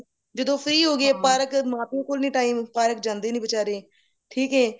ਜਦੋਂ free ਹੋ ਗਏ park ਮਾਂ ਪਿਓ ਕੋਲ ਨਹੀਂ time park ਜਾਂਦੇ ਨੀ ਬਿਚਾਰੇ ਠੀਕ ਏ